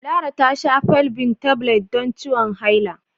Lara ta sha Felvin Tablets don ciwon haila.